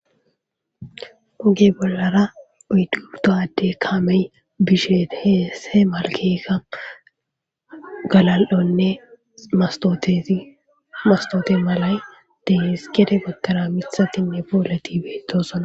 Oge bollara oydgubto adde kamey bisheet heese malkeeka galal7onne mastote malay deehis gede gottora mithatinne poolati beetosona.